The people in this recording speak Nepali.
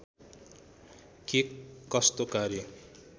के कस्तो कार्य